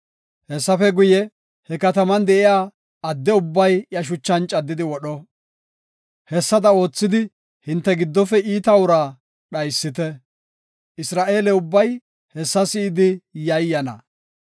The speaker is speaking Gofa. Hessafe guye, he kataman de7iya adde ubbay iya shuchan caddidi wodho. Hessada oothidi hinte giddofe iita uraa dhaysite; Isra7eele ubbay hessa si7idi yayyana.